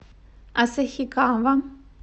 асахикава